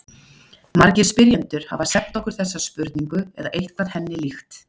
Margir spyrjendur hafa sent okkur þessa spurningu eða eitthvað henni líkt.